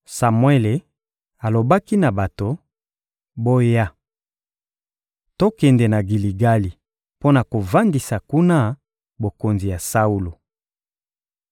Samuele alobaki na bato: — Boya! Tokende na Giligali mpo na kovandisa kuna bokonzi ya Saulo.